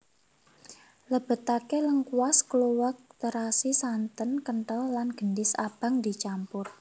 Lebetake lengkuas kluwek terasi santen kentel lan gendhis abang dicampur